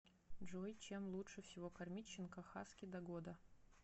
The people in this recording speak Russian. джой чем лучше всего кормить щенка хаски до года